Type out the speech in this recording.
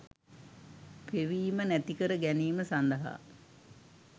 පෙවීම නැතිකර ගැනීම සඳහා